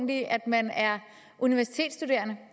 i at man er universitetsstuderende